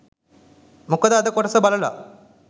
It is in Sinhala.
මොකද අද කොටස බලලා